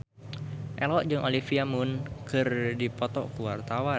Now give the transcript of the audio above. Ello jeung Olivia Munn keur dipoto ku wartawan